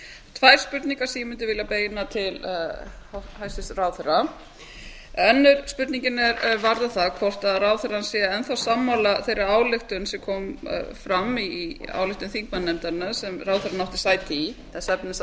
tvær spurningar sem ég vildi vilja beina til hæstvirts ráðherra önnur spurningin varðar það hvort ráðherrann sé enn þá sammála þeirri ályktun sem kom fram í ályktun þingmannanefndarinnar sem ráðherrann átti sæti í þess efnis að